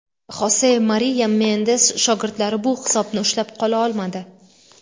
Xose Mariya Mendez shogirdlari bu hisobni ushlab qola olmadi.